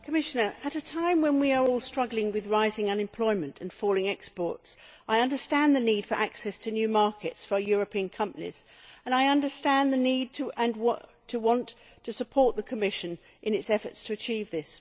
Mr President, Commissioner, at a time when we are all struggling with rising unemployment and falling exports, I understand the need for access to new markets for European companies, and I understand the need and desire to support the Commission in its efforts to achieve this.